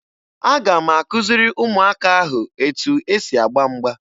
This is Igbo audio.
Aga m akụziri ụmụaka ahụ etu e si agba mgba